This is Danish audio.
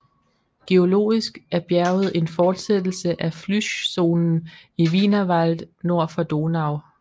Geologisk er bjerget en fortsættelse af flyschzonen i Wienerwald nord for Donau